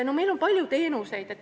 Meil on palju teenuseid.